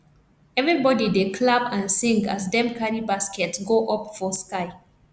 everybody dey clap and sing as dem carry baskets go up for sky